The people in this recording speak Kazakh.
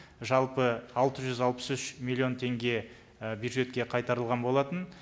жалпы алты жүз алпыс үш миллион теңге і бюджетке қайтарылған болатын